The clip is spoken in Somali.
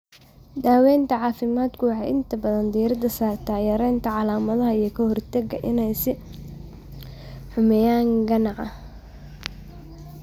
Daawaynta caafimaadku waxay inta badan diiradda saartaa yaraynta calaamadaha iyo ka hortagga inay sii xumeeyaan ganaca.